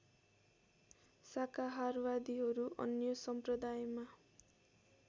शाकाहारवादीहरू अन्य सम्प्रदायमा